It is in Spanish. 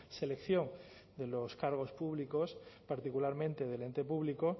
selección de los cargos públicos particularmente del ente público